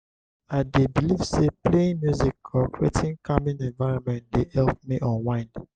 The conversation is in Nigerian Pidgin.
i dey believe say playing music or creating calming environment dey help me unwind.